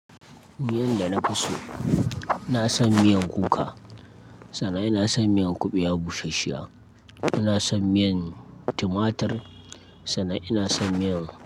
Miyan da nafi so, ina son miyan kuka, sannan ina son miyan kuɓewa bushashshiya, ina son miyan tumatir, sannan ina son miyan-